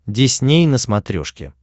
дисней на смотрешке